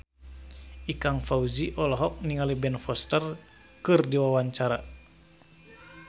Ikang Fawzi olohok ningali Ben Foster keur diwawancara